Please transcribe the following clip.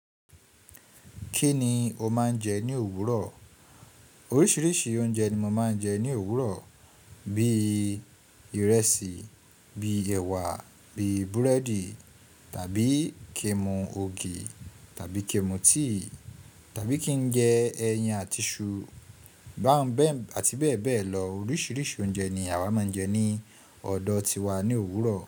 Kí ni o máa ń jẹ ní òwúrọ̀? Oríṣiríṣi oúnjẹ ni mo máa ń jẹ ní òwúrọ̀. Bíi ìrẹsì, bíi ẹ̀wà, bíi búrẹ́dì tàbí ki n mù ògì tàbí ki n mù tea tàbí kí n jẹ ẹyin àti iṣu báńbẹ̀ àti bẹ́ẹ̀ bẹ́ẹ̀ lọ. Oríṣiríṣi oúnjẹ ni àwa máa ń jẹ ní ọ̀dọ̀ tiwa ní òwúrọ̀.